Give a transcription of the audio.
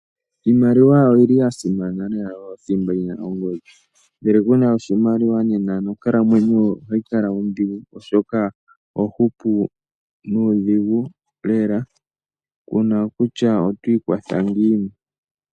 Iimaliwa oyili yasimana lela, oyo thimba yina ongodhi. Ngele kuna oshimaliwa nena onkalamwenyo ohayi kala ondhigu, kuna kutya otwii kwatha ngiini.